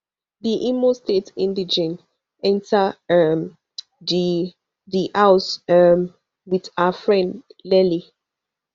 di imo state indigene enta um di di house um wit her friend nelly